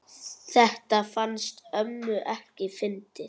Þetta fannst ömmu ekki fyndið.